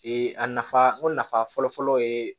a nafa o nafa fɔlɔfɔlɔ ye